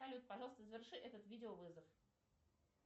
салют пожалуйста заверши этот видеовызов